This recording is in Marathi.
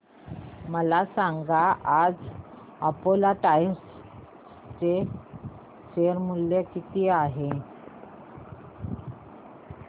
मला सांगा आज अपोलो टायर्स चे शेअर मूल्य किती आहे